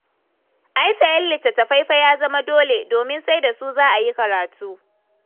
Ai sayen littattafai fa ya zama dole, domin sai da su za a yi karatu.